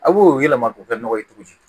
A b'o yɛlɛma k'o kɛ nɔgɔ ye cogo di